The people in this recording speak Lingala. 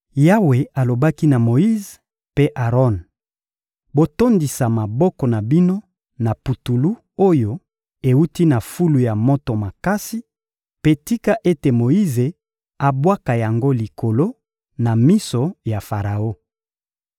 Yawe alobaki na Moyize mpe Aron: «Botondisa maboko na bino na putulu oyo ewuti na fulu ya moto makasi, mpe tika ete Moyize abwaka yango likolo, na miso ya Faraon.